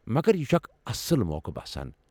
مگر یہِ چھُ اکھ اصٕل موقع باسان۔